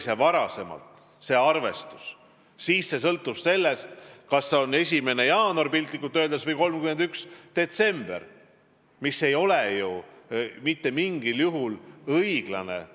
Varasem arvestus sõltus sellest, kas see on 1. jaanuar – piltlikult öeldes – või 31. detsember, mis ei ole ju mitte mingil juhul õiglane.